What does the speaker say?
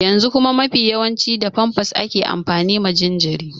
Yanzu kuma mafi yawanci da famfas ake amfani ma jinjiri.